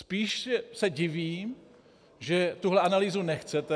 Spíš se divím, že tu analýzu nechcete.